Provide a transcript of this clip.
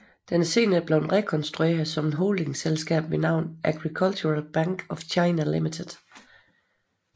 Den er senere blevet restruktureret som et holdingselskab ved navn Agricultural Bank of China Limited